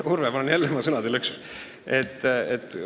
Urve, ma olen jälle oma sõnade lõksus!